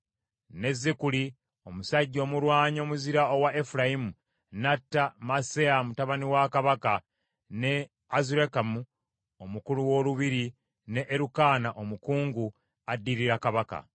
Ne Zikuli, omusajja omulwanyi omuzira owa Efulayimu n’atta Maaseya mutabani wa kabaka, ne Azulikamu omukulu w’olubiri ne Erukaana omukungu, addirira kabaka.